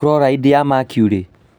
Chloride ya mercury